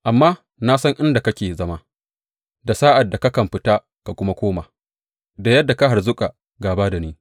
Amma na san inda kake zama da sa’ad da kakan fita ka kuma koma da yadda ka harzuƙa gāba da ni.